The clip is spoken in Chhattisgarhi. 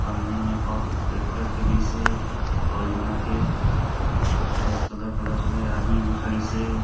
पन्नी में पाउक के पैक कर के दिस हे पाउच बना के मस्त कलर कलर हे ये आदमी खडिस हे।